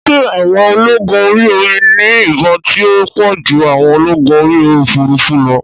Ṣé àwọn ológun orí omi ní ìbọn tí ó pọ̀ ju àwọn ológun orí òfurufú lọ?